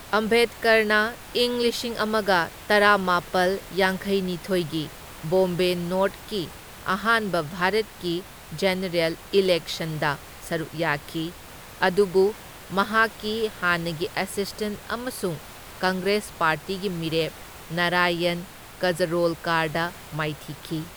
ꯑꯝꯕꯦꯗꯀꯔꯅ ꯏꯪ ꯂꯤꯁꯤꯡ ꯑꯃꯒ ꯇꯔꯥꯃꯥꯄꯜ ꯌꯥꯡꯈꯩꯅꯤꯊꯣꯢꯒꯤ ꯕꯣꯝꯕꯦ ꯅꯣꯔꯊꯀꯤ ꯑꯍꯥꯟꯕ ꯚꯥꯔꯠꯀꯤ ꯖꯦꯅꯔꯦꯜ ꯏꯂꯦꯛꯁꯟꯗ ꯁꯔꯨꯛ ꯌꯥꯈꯤ, ꯑꯗꯨꯕꯨ ꯃꯍꯥꯛꯀꯤ ꯍꯥꯟꯅꯒꯤ ꯑꯦꯁꯤꯁꯇꯦꯟꯠ ꯑꯃꯁꯨꯡ ꯀꯪꯒ꯭ꯔꯦꯁ ꯄꯥꯔꯇꯤꯒꯤ ꯃꯤꯔꯦꯞ ꯅꯥꯔꯥꯌꯟ ꯀꯖꯔꯣꯜꯀꯥꯔꯗ ꯃꯥꯏꯊꯤꯈꯤ꯫